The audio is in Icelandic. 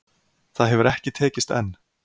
Það hefur ekki tekist enn